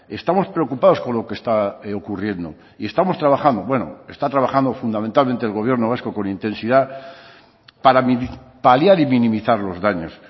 estamos preocupados con lo que está ocurriendo y estamos trabajando bueno está trabajando fundamentalmente el gobierno vasco con intensidad para paliar y minimizar los daños